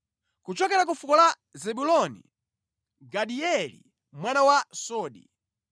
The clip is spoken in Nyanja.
kuchokera ku fuko la Zebuloni, Gadieli mwana wa Sodi;